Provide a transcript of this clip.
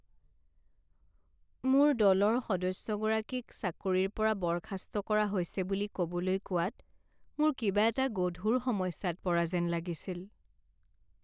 মোৰ দলৰ সদস্যগৰাকীক চাকৰিৰ পৰা বৰ্খাস্ত কৰা হৈছে বুলি ক'বলৈ কোৱাত মোৰ কিবা এটা গধুৰ সমস্যাত পৰা যেন লাগিছিল।